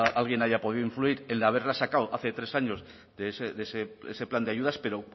alguien haya podido influir en haberlas sacado hace tres años de ese plan de ayudas pero